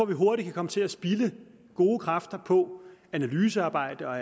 vi hurtigt kan komme til at spilde gode kræfter på analysearbejde og